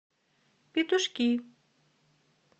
петушки